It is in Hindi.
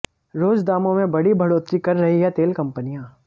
रोज दामों में बड़ी बढ़ोत्तरी कर रही हैं तेल कंपनियां